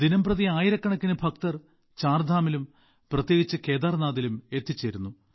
ദിനംപ്രതി ആയിരക്കണക്കിന് ഭക്തർ ചാർധാമിലും പ്രത്യേകിച്ച് കേദാർനാഥിലും എത്തിച്ചേരുന്നു